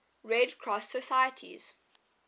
red cross societies